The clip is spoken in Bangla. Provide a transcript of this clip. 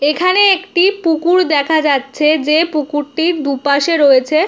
এখানে একটি পুকুর দেখা যাচ্ছে। যে পুকুরটির দুপাশে রয়েছে --